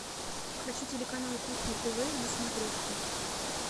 хочу телеканал кухня тв на смотрешке